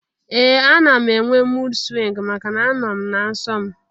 Ee! Ana m enwe mud swingu maka n'a nọ m na nsọ m.